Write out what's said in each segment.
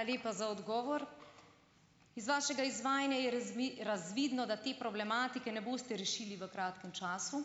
Hvala lepa za odgovor. Iz vašega izvajanja je razvidno, da te problematike ne boste rešili v kratkem času.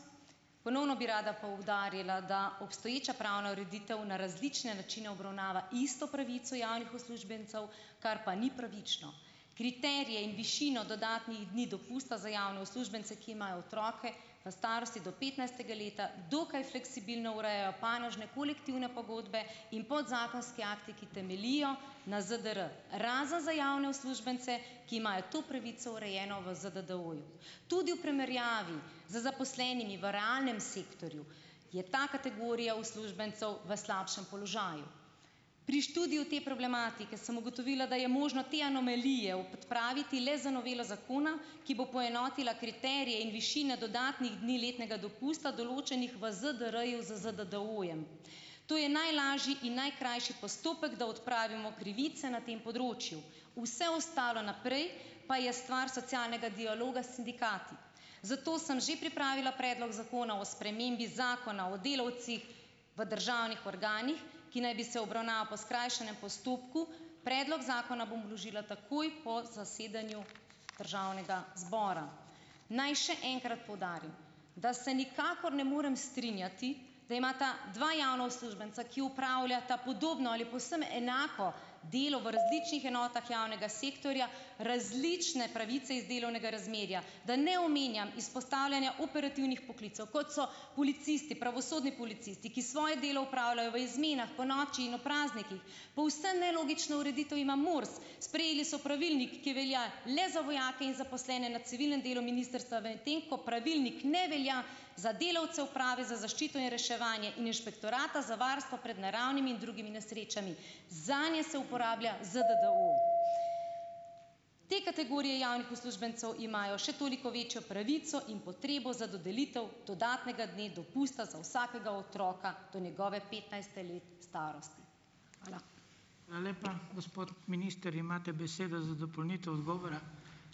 Ponovno bi rada poudarila, da obstoječa pravna ureditev na različne načine obravnava isto pravico javnih uslužbencev, kar pa ni pravično. Kriterije in višino dodatnih dni dopusta za javne uslužbence, ki imajo otroke v starosti do petnajstega leta, dokaj fleksibilno urejajo panožne kolektivne pogodbe in podzakonski akti, ki temeljijo na ZDR - razen za javne uslužbence, ki imajo to pravico urejeno v ZDDO-ju. Tudi v primerjavi z zaposlenimi v realnem sektorju je ta kategorija uslužbencev v slabšem položaju. Pri študiju te problematike sem ugotovila, da je možno te anomalije odpraviti le z novelo zakona, ki bo poenotila kriterije in višine dodatnih dni letnega dopusta, določenih v ZDR z ZDDO-jem. To je najlažji in najkrajši postopek, da odpravimo krivice na tem področju, vse ostalo naprej pa je stvar socialnega dialoga s sindikati. Zato sem že pripravila Predlog zakona o spremembi Zakona o delavcih v državnih organih, ki naj bi se obravnaval po skrajšanem postopku. Predlog zakona bom vložila takoj po zasedanju državnega zbora. Naj še enkrat poudarim, da se nikakor ne morem strinjati, da imata dva javna uslužbenca, ki opravljata podobno ali povsem enako delo v različnih enotah javnega sektorja, različne pravice iz delovnega razmerja, da ne omenjam izpostavljanja operativnih poklicev, kot so policisti, pravosodni policisti, ki svoje delo opravljajo v izmenah, ponoči in ob praznikih, povsem nelogično ureditev ima MORS. Sprejeli so pravilnik, ki velja le za vojake in zaposlene na civilnem delu ministrstva, medtem ko pravilnik ne velja za delavce Uprave za zaščito in reševanje in Inšpektorata za varstvo pred naravnimi in drugimi nesrečami, zanje se uporablja ZDDO. Te kategorije javnih uslužbencev imajo še toliko večjo pravico in potrebo za dodelitev dodatnega dne dopusta za vsakega otroka do njegovega petnajstega leta starosti. Hvala.